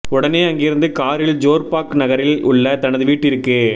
உடனே அங்கிருந்து காரில் ஜோர்பாக் நகரில் உள்ள தனது வீட்டிற்கு